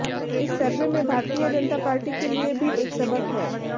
इस सर्वे में भारतीय जनता पार्टी के लिए भी एक सबक है